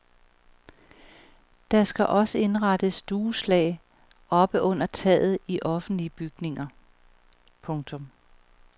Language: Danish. Der skal også indrettes dueslag oppe under taget i offentlige bygninger. punktum